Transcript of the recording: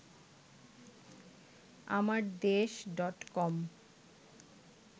Amardesh dot কম